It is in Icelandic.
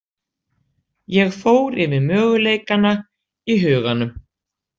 Ég fór yfir möguleikana í huganum.